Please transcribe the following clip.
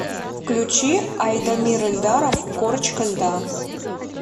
включи айдамир эльдаров корочка льда